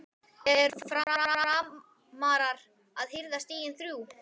ERU FRAMARAR AÐ HIRÐA STIGIN ÞRJÚ??